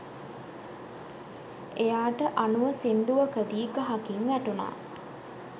එයාට අනුව සිංදුවකදි ගහකින් වැටුණා